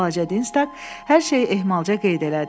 Balaca Dinstak hər şeyi ehtiyatca qeyd elədi.